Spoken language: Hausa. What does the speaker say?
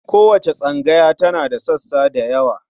Kowace tsangaya tana da sassa da yawa.